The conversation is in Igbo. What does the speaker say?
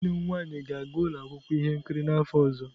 Nwanne m nwanyị ga-aga ụlọ akwụkwọ ihe nkiri n'afọ ọzọ.